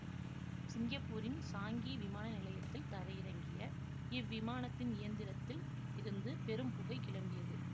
சிங்கப்பூரின் சாங்கி விமானநிலையத்தில் தரையிறங்கிய இவ்விமானத்தின் இயந்திரத்தில் இருந்து பெரும் புகை கிளம்பியது